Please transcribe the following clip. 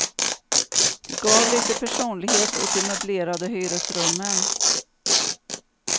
De gav lite personlighet åt de möblerade hyresrummen.